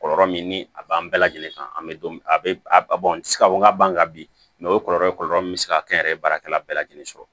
Kɔlɔlɔ min ni a b'an bɛɛ lajɛlen kan an bɛ don min a bɛ ka fɔ n ka ban kan bi o kɔlɔlɔ min bɛ se ka kɛ n yɛrɛ ye baarakɛla bɛɛ lajɛlen sɔrɔ